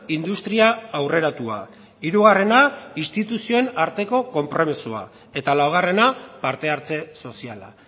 industria aurreratua hirugarrena instituzioen arteko konpromisoa eta laugarrena parte hartze soziala